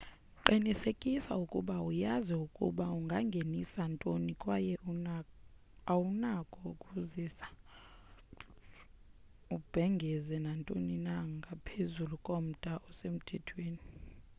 qinisekisa ukuba uyazi ukuba ungangenisa ntoni kwaye awunako ukuzisa ubhengeze nantoni na ngaphezulu komda osemthethweni